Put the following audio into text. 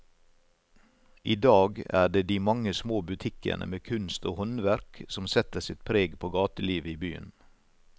I dag er det de mange små butikkene med kunst og håndverk som setter sitt preg på gatelivet i byen.